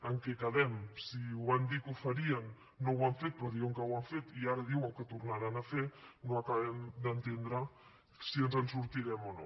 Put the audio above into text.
en què quedem si van dir que ho farien no ho han fet però diuen que ho han fet i ara diuen que ho tornaran a fer no acabem d’entendre si ens en sortirem o no